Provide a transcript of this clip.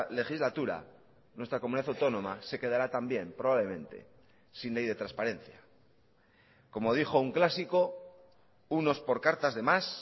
legislatura nuestra comunidad autónoma se quedará también probablemente sin ley de transparencia como dijo un clásico unos por cartas de más